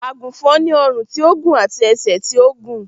Àgùnfòn ni ọrùn tí ó gùn àti ẹsẹ̀ tí ó gùn